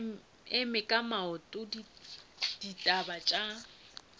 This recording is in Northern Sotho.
eme ka maoto ditaba tša